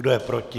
Kdo je proti?